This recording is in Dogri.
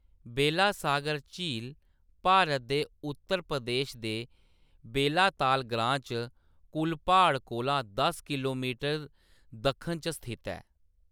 बेलासागर झील भारत दे उत्तर प्रदेश दे बेलाताल ग्रांऽ च कुलपहाड़ कोला दस किलोमीटर दक्खन च स्थित ऐ।